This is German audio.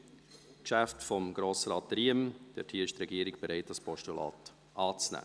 Beim Geschäft von Grossrat Riem ist die Regierung bereit, das Postulat anzunehmen.